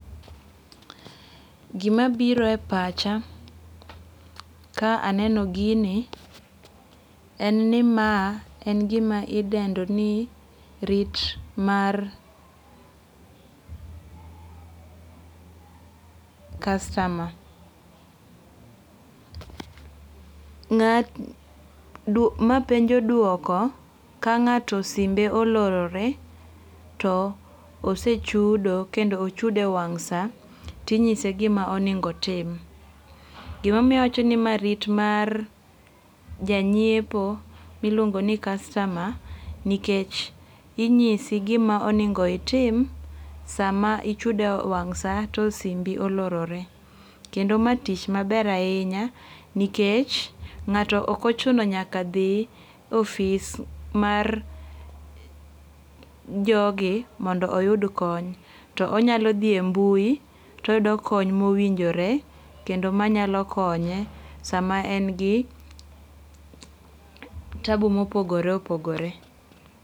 Gima biro e pacha ka aneno gini en ni ma en gima idendo ni rit mar customer. Ma penjo duoko ka ng'ato simbe olorore to osechudo kendo ochudo e wang' sa tinyise gima onego otim. Gimomiyo awacho ni rit mar janyiepo miluon go ni customer nikech inyisi gima onengo itim sa ma ichudo e wang' sa to simbi olorore. Kendo ma tich maber ahinya nikech ng'ato ok ochuno nyaka dhi ofis mar jogi mondo oyud kony. To onyalo dhi e mbui toyudo kony mowinjore kendo manyalo konye sama en gi tabu mopogore opogore.